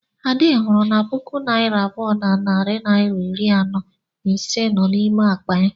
Ade hụrụ na puku naira abụọ na narị naịra iri anọ na ise nọ n'ime akpa ya.